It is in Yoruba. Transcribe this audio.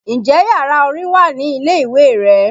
Ǹjẹ́ yàrá orin wà ní ilé ìwé rẹ?